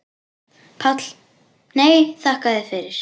PÁLL: Nei, þakka þér fyrir.